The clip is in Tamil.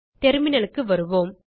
terminalக்கு வருவோம்